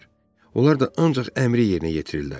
Onlar da ancaq əmri yerinə yetirirlər.